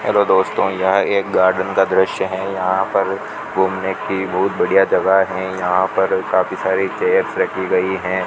Hello दोस्तो यहाँ एक गार्डन का दृश्य है यहाँ पर घूमने की बहुत बढियां जगह है यहाँ पर काफी सारी चेयर्स रखी गई है।